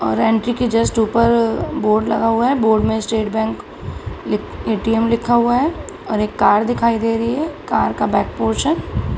और एन.के. के जस्ट ऊपर बोर्ड लगा हुआ हैं बोर्ड में स्टेट बैंक ए.टी.एम. लिखा हुआ है और एक कार दिखाई दे रही है कार का बैक पोर्शन ।